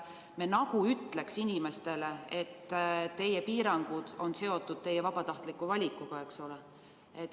Me nagu ütleks inimestele, et teie piirangud on seotud teie vabatahtliku valikuga.